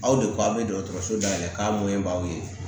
Aw de ko aw bɛ dɔgɔtɔrɔso dayɛlɛ k'a mɔnɲɛbaw ye